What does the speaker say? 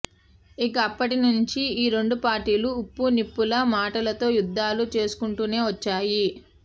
ఇక అప్పటి నుంచి ఈ రెండు పార్టీలు ఉప్పు నిప్పు లా మాటలతో యుద్దాలు చేసుకుంటూనే వచ్చాయి